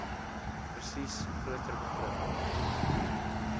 spesies groter begrip